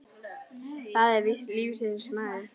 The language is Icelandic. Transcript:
Það er víst lífsins gangur.